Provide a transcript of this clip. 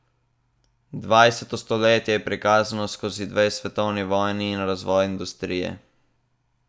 Dvajseto stoletje je prikazano skozi dve svetovni vojni in razvoj industrije.